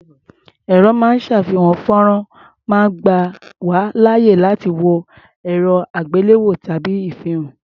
Ẹ̀̀rọ ró máa ń ṣàfihàn fọ́nrán máa ń gbà wá láàyè láti wo erẹ́-àgbéléwò tàbí ìfihàn.